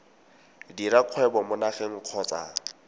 dira kgwebo mo nageng kgotsa